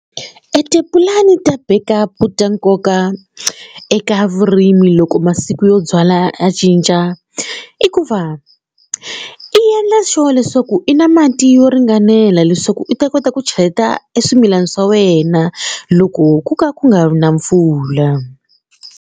Etipulani ta backup ta nkoka eka vurimi loko masiku yo byala ya cinca i ku va i yendla sure leswaku i na mati yo ringanela leswaku i ta kota ku cheleta eswimilana swa wena loko ku ka ku nga ri na mpfula.